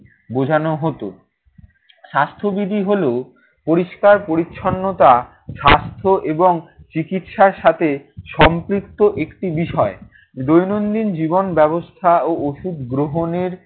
বোঝানো হতো। স্বাস্থ্যবিধি হলো পরিষ্কার-পরিচ্ছন্নতা স্বাস্থ্য এবং চিকিৎসার সাথে সম্পৃপ্ত একটি বিষয়। দৈনন্দিন জীবন ব্যবস্থা ও ওষুধ গ্রহণের